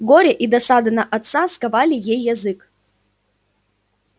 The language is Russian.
горе и досада на отца сковали ей язык